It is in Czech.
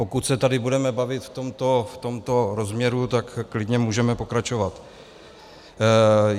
Pokud se tady budeme bavit v tomto rozměru, tak klidně můžeme pokračovat.